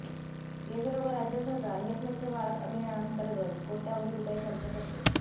केंद्र व राज्य सरकार हे स्वच्छ भारत अभियानांतर्गत कोट्यावधी रुपये खर्च करते